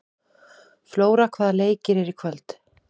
Flóra, hvaða leikir eru í kvöld?